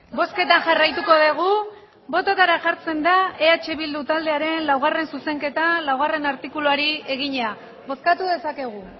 bozketan jarraituko dugu botoetara jartzen da eh bildu taldearen laugarrena zuzenketa laugarrena artikuluari egina bozkatu dezakegu